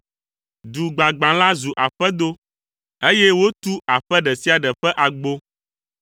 Du gbagbã la zu aƒedo, eye wotu aƒe ɖe sia ɖe ƒe agbo.